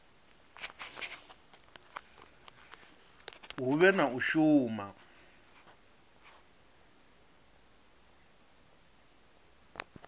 hu vhe na u shuma